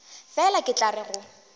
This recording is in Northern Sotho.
fela ke tla re go